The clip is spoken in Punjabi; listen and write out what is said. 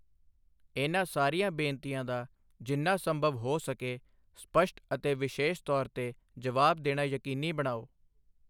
ਇਹਨਾਂ ਸਾਰੀਆਂ ਬੇਨਤੀਆਂ ਦਾ ਜਿੰਨਾ ਸੰਭਵ ਹੋ ਸਕੇ ਸਪਸ਼ਟ ਅਤੇ ਵਿਸ਼ੇਸ਼ ਤੌਰ 'ਤੇ ਜਵਾਬ ਦੇਣਾ ਯਕੀਨੀ ਬਣਾਓ।